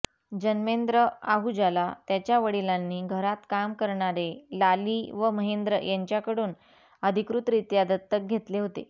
जन्मेंद्र आहूजाला त्याच्या वडीलांनी घरात काम करणारे लाली व महेंद्र यांच्याकडुन अधिकृतरीत्या दत्तक घेतले होते